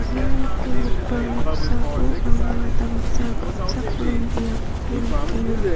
ia nikenggipa noksao anga damsa kal·chakram biapko nikenga.